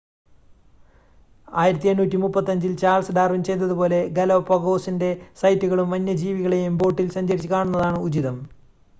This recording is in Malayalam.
1835-ൽ ചാൾസ് ഡാർവിൻ ചെയ്തതുപോലെ ഗാലപാഗോസിൻ്റെ സൈറ്റുകളും വന്യജീവികളെയും ബോട്ടിൽ സഞ്ചരിച്ച് കാണുന്നതാണ് ഉചിതം